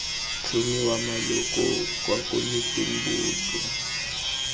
tlhomiwa maloko kwa komiting boto